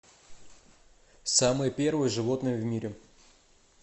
самое первое животное в мире